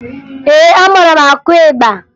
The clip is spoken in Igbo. Ee, amara m akụ ịgba